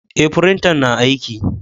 Eh, firintan na aiki.